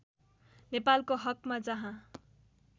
नेपालको हकमा जहाँ